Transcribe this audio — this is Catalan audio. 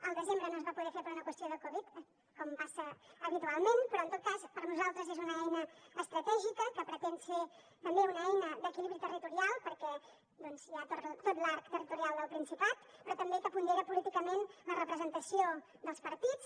al desembre no es va poder fer per una qüestió de covid com passa habitualment però en tot cas per nosaltres és una eina estratègica que pretén ser també una eina d’equilibri territorial perquè hi ha tot l’arc territorial del principat però també que pondera políticament la representació dels partits